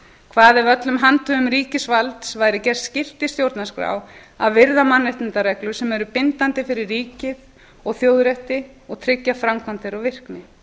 hvað ef öllum handhöfum ríkisvalds væri gert skylt í stjórnarskrá að virða mannréttindareglur sem eru bindandi fyrir ríkið og þjóð rétti og tryggja framkvæmd þeirra og virkni